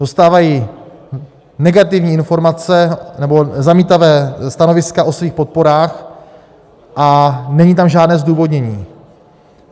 Dostávají negativní informace, nebo zamítavá stanoviska, o svých podporách a není tam žádné zdůvodnění.